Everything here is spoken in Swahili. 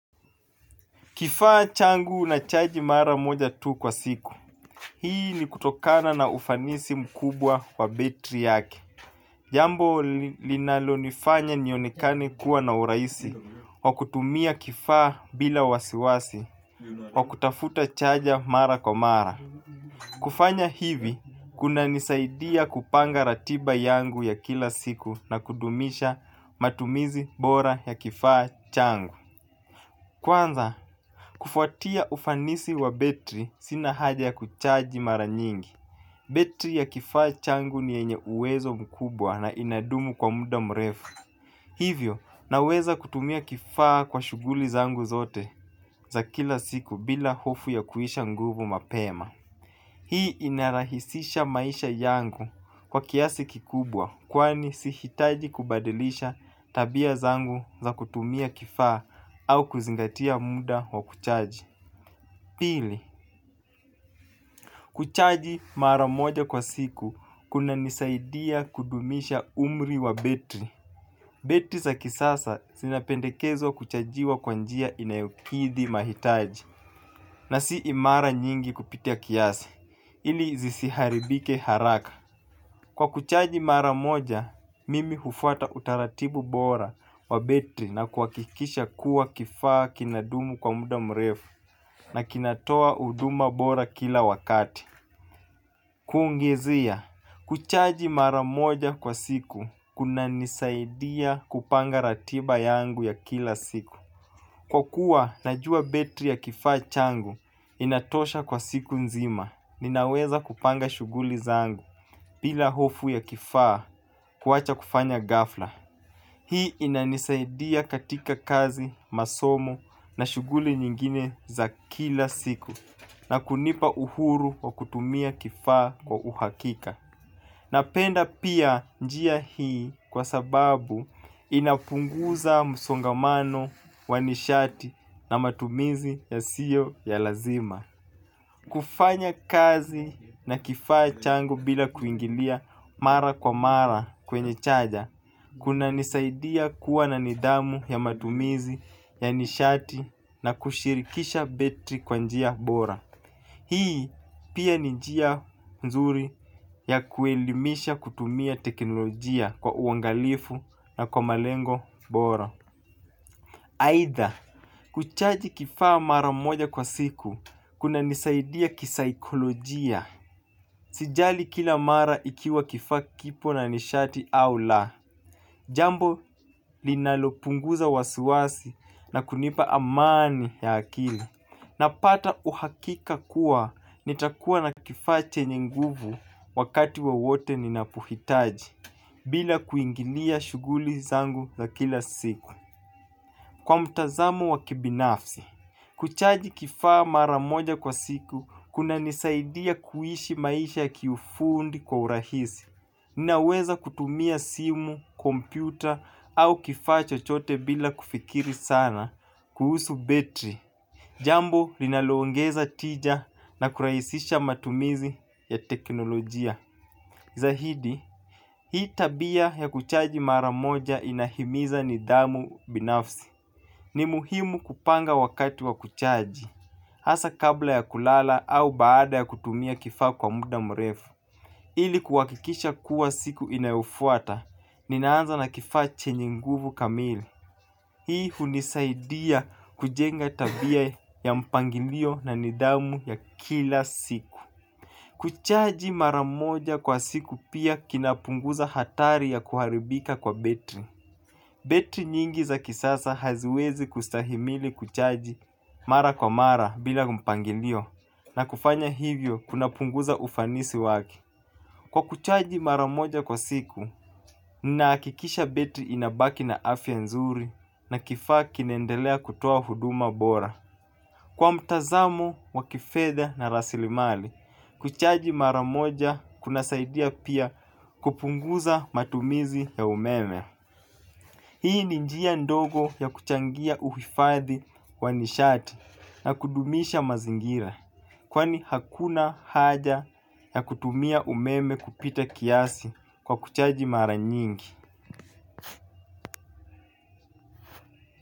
Kifaa changu na chaji mara moja tu kwa siku. Hii ni kutokana na ufanisi mkubwa wa betri yake. Jambo linalo nifanya nionekani kuwa na uraisi, wa kutumia kifaa bila wasiwasi, wa kutafuta chaja mara kwa mara. Kufanya hivi, kuna nisaidia kupanga ratiba yangu ya kila siku na kudumisha matumizi bora ya kifaa changu. Kwanza kufuatia ufanisi wa betri sina haja ya kuchaji mara nyingi. Betri ya kifaa changu nienye uwezo mkubwa na inadumu kwa muda mrefu. Hivyo naweza kutumia kifaa kwa shuguli zangu zote za kila siku bila hofu ya kuisha nguvu mapema. Hii inarahisisha maisha yangu kwa kiasi kikubwa kwani si hitaji kubadilisha tabia zangu za kutumia kifaa au kuzingatia muda wa kuchaji. Pili, kuchaji maramoja kwa siku kuna nisaidia kudumisha umri wa betri. Betri za kisasa sinapendekezo kuchajiwa kwanjia inayokithi mahitaji na si imara nyingi kupitia kiasi. Ili zisiharibike haraka. Kwa kuchaji maramoja, mimi hufata utaratibu bora wa betri na kuakikisha kuwa kifaa kinadumu kwa muda mrefu na kinatoa uduma bora kila wakati. Kuongezea, kuchaji maramoja kwa siku kuna nisaidia kupanga ratiba yangu ya kila siku. Kwa kuwa, najua betri ya kifaa changu inatosha kwa siku nzima. Ninaweza kupanga shuguli zangu pila hofu ya kifaa kuwacha kufanya gafla. Hii inanisaidia katika kazi, masomo na shuguli nyingine za kila siku. Na kunipa uhuru wa kutumia kifaa kwa uhakika. Napenda pia njia hii kwa sababu inapunguza musongamano, wanishati na matumizi ya siyo ya lazima. Kufanya kazi na kifaa changu bila kuingilia mara kwa mara kwenye chaja. Kuna nisaidia kuwa na nidhamu ya matumizi ya nishati na kushirikisha betri kwa njia bora. Hii pia njia mzuri ya kuelimisha kutumia teknolojia kwa uangalifu na kwa malengo bora. Aitha, kuchaji kifaa mara moja kwa siku, kuna nisaidia kisaikolojia. Sijali kila mara ikiwa kifaa kipo na nishati au la. Jambo, linalopunguza wasiwasi na kunipa amani ya akili. Napata uhakika kuwa nitakuwa na kifache nyinguvu wakati wa wote ninapuhitaji, bila kuingilia shuguli zangu za kila siku. Kwa mtazamu wakibinafsi, kuchaji kifaa maramoja kwa siku kuna nisaidia kuhishi maisha kiyufundi kwa urahisi. Ninaweza kutumia simu, kompyuta au kifaa chochote bila kufikiri sana kuhusu betri. Jambo linalongeza tija na kuraisisha matumizi ya teknolojia. Zahidi, hii tabia ya kuchaji maramoja inahimiza nidhamu binafsi. Ni muhimu kupanga wakati wa kuchaji. Asa kabla ya kulala au baada ya kutumia kifaa kwa muda mrefu. Ili kuwakikisha kuwa siku inayofuata, ninaanza na kifaa chenye nguvu kamili. Hii hunisaidia kujenga tabia ya mpangilio na nidhamu ya kila siku. Kuchaji maramoja kwa siku pia kinapunguza hatari ya kuharibika kwa betri. Betri nyingi za kisasa haziwezi kustahimili kuchaji mara kwa mara bila mpangilio na kufanya hivyo kuna punguza ufanisi wake. Kwa kuchaji mara moja kwa siku, ninaakikisha betri inabaki na afya nzuri na kifaa kinaendelea kutoa huduma bora. Kwa mtazamo, wa kifedha na rasilimali, kuchaji mara moja kuna saidia pia kupunguza matumizi ya umeme. Hii ni njia ndogo ya kuchangia uhifadhi wa nishati na kudumisha mazingira kwani hakuna haja ya kutumia umeme kupita kiasi kwa kuchaji maranyingi.